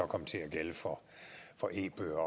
komme til at gælde for e bøger